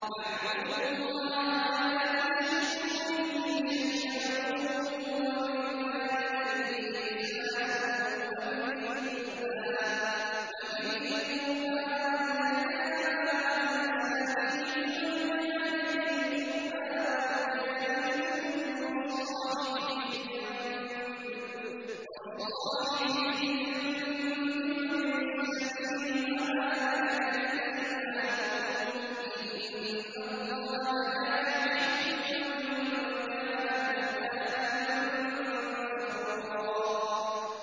۞ وَاعْبُدُوا اللَّهَ وَلَا تُشْرِكُوا بِهِ شَيْئًا ۖ وَبِالْوَالِدَيْنِ إِحْسَانًا وَبِذِي الْقُرْبَىٰ وَالْيَتَامَىٰ وَالْمَسَاكِينِ وَالْجَارِ ذِي الْقُرْبَىٰ وَالْجَارِ الْجُنُبِ وَالصَّاحِبِ بِالْجَنبِ وَابْنِ السَّبِيلِ وَمَا مَلَكَتْ أَيْمَانُكُمْ ۗ إِنَّ اللَّهَ لَا يُحِبُّ مَن كَانَ مُخْتَالًا فَخُورًا